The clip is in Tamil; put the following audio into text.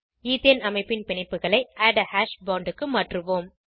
ஈத்தேன் அமைப்பின் பிணைப்புகளை ஆட் ஆ ஹாஷ் போண்ட் க்கு மாற்றுவோம்